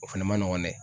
O fɛnɛ ma nɔgɔn dɛ